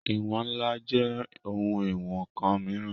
Ìwọ̀n ńlá jẹ́ ohun ìwọn ǹkan mìíràn